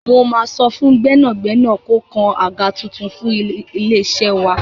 Mo máa sọ fún gbẹ́nàgbẹ́nà kó kan àga tuntun fún ilé-iṣẹ́ wa.